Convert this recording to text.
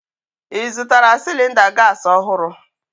Ị zụtara cylinder gas ọhụrụ?